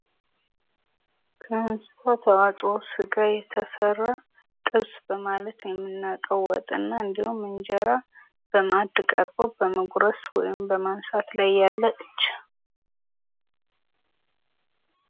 ምስሉ ላይ የምናየው ከስጋ የተሰራ ጥብስ በመባል የምናውቀው ወጥ እና እንዲሁም እንጀራ በማዕድ ቀርቦ በመጉረስ ወይም በማንሳት ላይ ያለ እጅ!